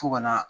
Fo ka na